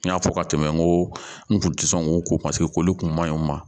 N y'a fɔ ka tɛmɛ n ko n kun tɛ sɔn k'o ko paseke koli kun ma ɲi u ma